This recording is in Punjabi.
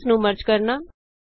ਸੈੱਲਸ ਨੂੰ ਮਰਜ ਕਰਨਾ